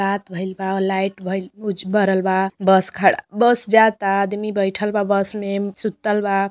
रात भईल बा लाइट भईल बुझ बरल बा बस खड़ा बस जाता आदमी बैठल बा बस में सुतल बा।